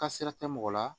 Kasira tɛ mɔgɔ la